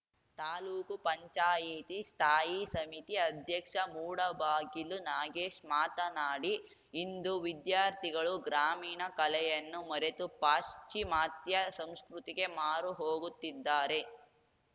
ತಾಲೂಕು ಪಂಚಾಯತಿ ಸ್ಥಾಯಿ ಸಮಿತಿ ಅಧ್ಯಕ್ಷ ಮೂಡಬಾಗಿಲು ನಾಗೇಶ್‌ ಮಾತನಾಡಿ ಇಂದು ವಿದ್ಯಾರ್ಥಿಗಳು ಗ್ರಾಮೀಣ ಕಲೆಯನ್ನು ಮರೆತು ಪಾಶ್ವಿಮಾತ್ಯ ಸಂಸ್ಕೃತಿಗೆ ಮಾರುಹೊಗುತ್ತಿದ್ದಾರೆ